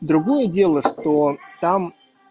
другое дело что там